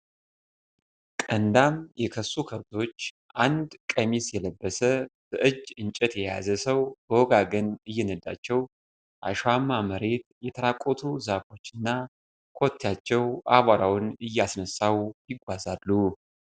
ቀንዳም የከሱ ከብቶች ፤ አንድ ቀሚስ የለበሰ በእጅ እንጨት የያዘ ሰው በወገጋገን እየነዳቸው ፤ አሸዋማ መሬት ፤ የተራቆቱ ዛፎች እና ኮቴያቸው አቧራውን እያነሳው ይጓዛሉ።